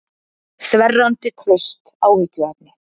Þverrandi traust áhyggjuefni